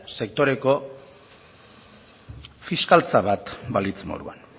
sektoreko fiskaltza bat balitz moduan